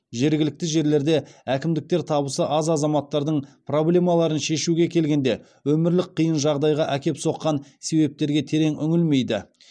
жергілікті жерлерде әкімдіктер табысы аз азаматтардың проблемаларын шешуге келгенде өмірлік қиын жағдайға әкеп соққан себептерге терең үңілмейді